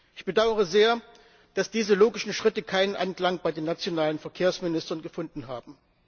Ich bedaure sehr, dass diese logischen Schritte keinen Anklang bei den nationalen Verkehrsministern gefunden haben.